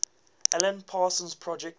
alan parsons project